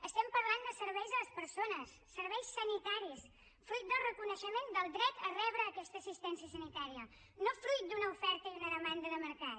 estem parlant de serveis a les persones serveis sanitaris fruit del reconeixement del dret a rebre aquesta assistència sanitària no fruit d’una oferta i una demanda de mercat